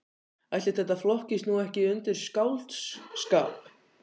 Ætli þetta flokkist nú ekki undir skáldskap.